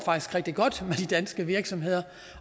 rigtig godt med de danske virksomheder